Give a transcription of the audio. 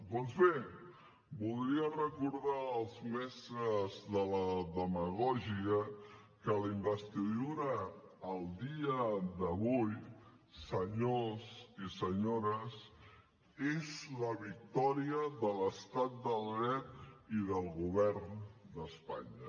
doncs bé voldria recordar als mestres de la demagògia que la investidura al dia d’avui senyors i senyores és la victòria de l’estat de dret i del govern d’espanya